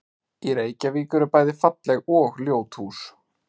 Í Reykjavík eru bæði falleg og ljót hús.